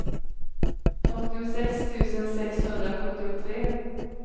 fyrtiosex tusen sexhundrasjuttiotre